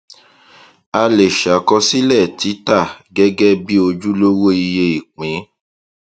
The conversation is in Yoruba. a lè ṣàkósílẹ títà gẹgẹ bí ojúlówó iye ìpín